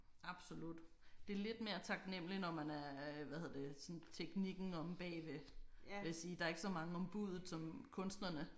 Absolut det er lidt mere taknemmeligt når man er øh hvad hedder det sådan teknikken omme bagved. Vil jeg sige der er ikke så mange om buddet som kunstnerne